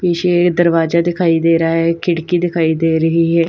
पीछे यह दरवाजा दिखाई दे रहा है खिड़की दिखाई दे रही है।